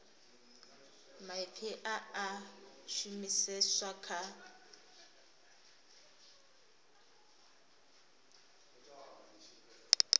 maipfi a a shumiseswa kha